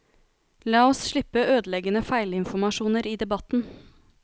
La oss slippe ødeleggende feilinformasjoner i debatten.